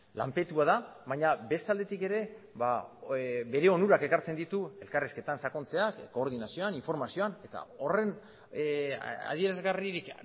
lanpetua da baina beste aldetik ere bere onurak ekartzen ditu elkarrizketan sakontzeak koordinazioan informazioan eta horren adierazgarririk